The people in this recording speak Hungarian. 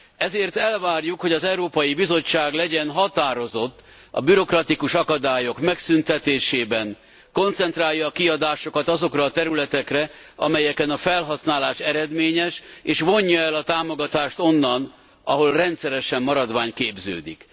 Ezért elvárjuk, hogy az Európai Bizottság legyen határozott a bürokratikus akadályok megszüntetésében, koncentrálja a kiadásokat azokra a területekre, amelyeken a felhasználás eredményes és vonja el a támogatást onnan, ahol rendszeresen maradvány képződik.